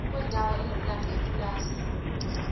kwendawo enomlando yepulazi